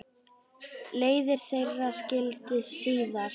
Leiðir þeirra skildi síðar.